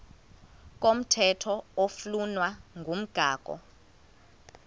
komthetho oflunwa ngumgago